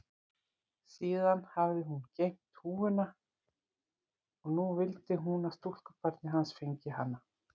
Síðan hafði hún geymt húfuna og nú vildi hún að stúlkubarnið hans fengi hana.